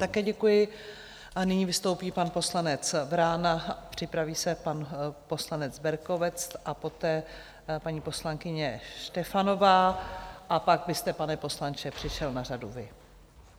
Také děkuji a nyní vystoupí pan poslanec Vrána, připraví se pan poslanec Berkovec a poté paní poslankyně Štefanová a pak byste, pane poslanče, přišel na řadu vy.